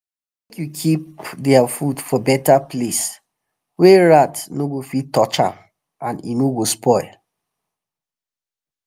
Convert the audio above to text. make u keep their food for better place wa rat um no go fit touch am and e no um go spoil